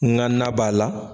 N ga na b'a la